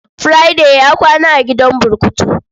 Friday ya kwana a gidan burkutu.